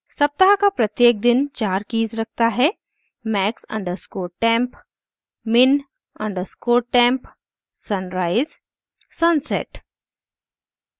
* सप्ताह का प्रत्येक दिन चार कीज़ रखता है